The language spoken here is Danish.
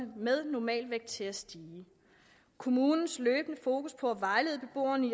med normalvægt til at stige kommunens løbende fokus på at vejlede beboerne